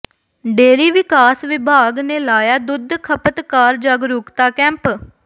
dairy ਵਿਕਾਸ ਵਿਭਾਗ ਨੇ ਲਾਇਆ ਦੁੱਧ ਖਪਤਕਾਰ ਜਾਗਰੂੁਕਤਾ ਕੈਂਪ